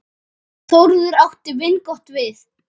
Þórður átti vingott við.